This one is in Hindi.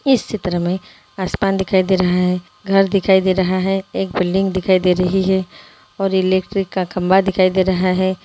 इस चित्र में आसमान दिखाई दे रहा है घर दिखाई दे रहा है एक बिल्डिंग दिखाई दे रही है और इलेक्ट्रिक का खंबा दिखाई दे रहा है।